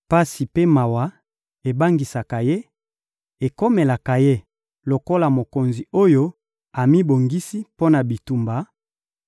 Pasi mpe mawa ebangisaka ye, ekomelaka ye lokola mokonzi oyo amibongisi mpo na bitumba,